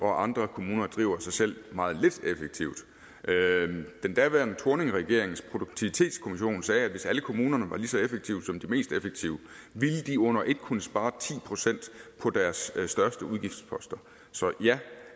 andre kommuner driver sig selv meget lidt effektivt den daværende thorning regerings produktivitetskommission sagde at hvis alle kommunerne var lige så effektive som de mest effektive ville de under et kunne spare ti procent på deres største udgiftsposter så ja